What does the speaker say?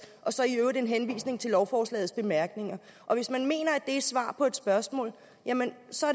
og så i øvrigt en henvisning til lovforslagets bemærkninger og hvis man mener at det er svar på et spørgsmål jamen så